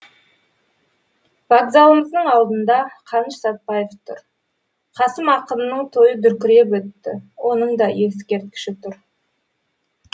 вокзалымыздың алдында қаныш сәтпаев тұр қасым ақынның тойы дүркіреп өтті оның да ескерткіші тұр